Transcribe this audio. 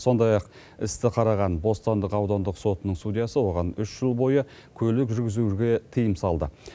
сондай ақ істі қараған бостандық аудандық сотының судьясы оған үш жыл бойы көлік жүргізуге тыйым салды